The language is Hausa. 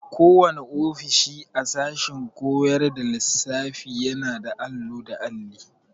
Kowanne ofishi a sashen koyar da lissafiyana da allo da alli.